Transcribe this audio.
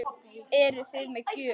Eruði með gjöf?